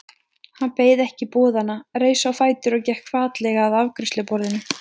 Hann beið ekki boðanna, reis á fætur og gekk hvatlega að afgreiðsluborðinu.